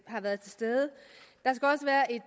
har været til stede